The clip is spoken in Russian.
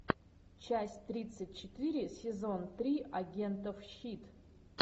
часть тридцать четыре сезон три агентов щит